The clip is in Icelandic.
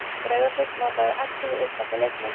Breiðablik notaði ellefu uppalda leikmenn